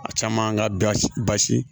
A caman ka gasi